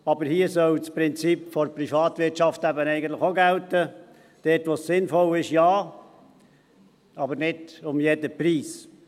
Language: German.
Aber hier soll das Prinzip der Privatwirtschaft eben auch gelten: Dort, wo es sinnvoll ist, ja, aber nicht um jeden Preis.